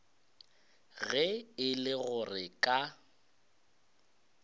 ge e le gore ka